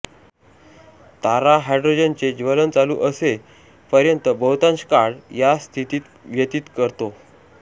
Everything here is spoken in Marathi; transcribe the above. तारा हायड्रोजनचे ज्वलन चालु असे पर्यंत बहुतांश काळ याच स्थितीत व्यतीत करतो